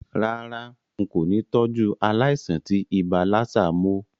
Rárá, n kò ni tọ́jú aláìsàn tí ibà lassa mó